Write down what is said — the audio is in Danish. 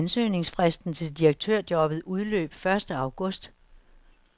Ansøgningsfristen til direktørjobbet udløb første august.